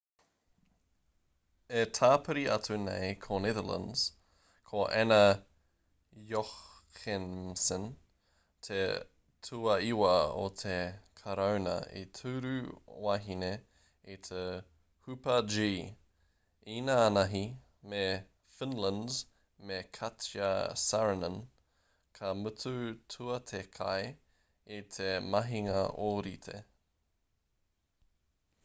e tāpiri atu nei ko netherlands ko anna jochemsen te tuaiwa o te karauna tūru wahine i te hupa-g īnānahi me finland me katja saarinen ka mutu tuatekai i te mahinga ōrite